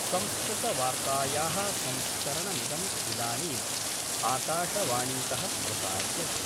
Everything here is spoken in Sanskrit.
संस्कृतवार्ताया: संस्करणमिदं इदानीं आकाशवाणीत: प्रसार्यते।